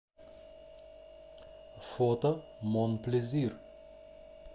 фото мон плезир